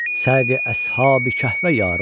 Səqi əshabi Kəhfə yar olsun.